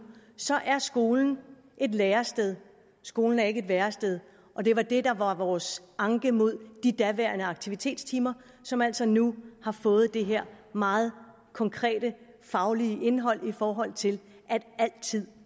så er skolen et lærested skolen er ikke et værested og det var det der var vores anke mod de daværende aktivitetstimer som altså nu har fået det her meget konkrete faglige indhold i forhold til at al tid